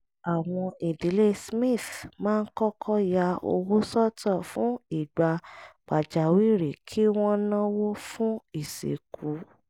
àwọn ìdílé smith máa ń kọ́kọ́ ya owó sọ́tọ̀ fún ìgbà pàjáwìrì kí wọ́n náwó fún ìsìnkú